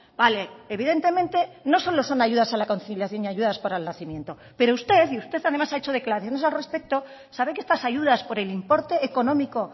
vale evidentemente no solo son ayudas a la conciliación y ayudas para el nacimiento pero usted y usted además ha hecho declaraciones al respecto sabe que estas ayudas por el importe económico